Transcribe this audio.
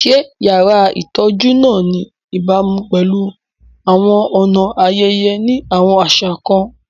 Ṣé yàrá ìtọ́jú náà ní ìbámu pẹ̀lú àwọn ọ̀nà ayẹyẹ ní àwọn àṣà kan?